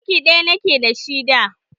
Suruki ɗaya ni ke da shi da.